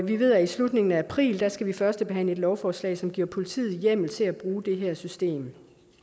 vi ved at i slutningen af april skal vi førstebehandle et lovforslag som giver politiet hjemmel til at bruge det her system